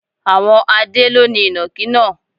Àwọn Adé ló ni Ìnàkí náà.